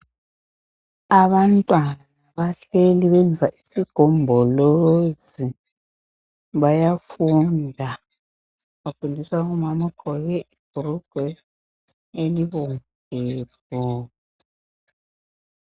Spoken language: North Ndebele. Abantwana bahleli benza isigombolozi bayafunda. Bafundiswa ngumama ogqoke ibhulugwe elibomvu.